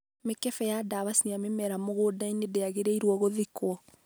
mĩkembe ya ndawa cia mĩmera mũgũnda-inĩ ndĩangĩrĩirwo ngũthikwo